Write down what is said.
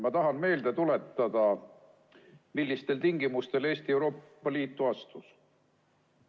Ma tahan meelde tuletada, millistel tingimustel Eesti Euroopa Liitu astus.